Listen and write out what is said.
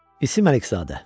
İsim Əlizadə.